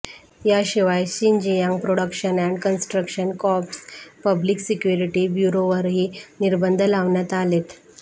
याशिवाय Xinjiang production and construction corps public security ब्यूरोवरही निर्बंध लावण्यात आलेत